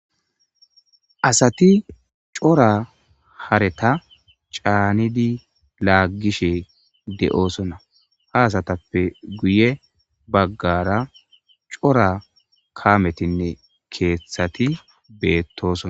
Asat cora hareta caanidi laagishe de'osona, ha asatppe guye bagara cora kaametinne cora hareta caanidi laagishe de'osona, ha asatappe guye bagara cora kaametinne keethat betosona.